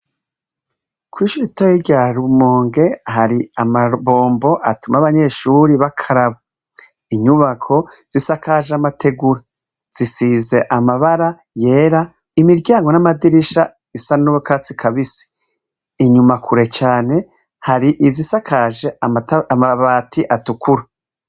Ko ishito yi rya rumonge hari amabombo atuma abanyeshuri b'akaraba inyubako zisakaje amategura zisize amabara yera imiryango n'amadirisha isa nubokatsi kabise inyuma kure cane hari izisakaje amabbara ati atukura.